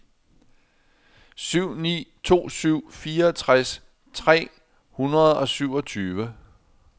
syv ni to syv fireogtres tre hundrede og syvogtyve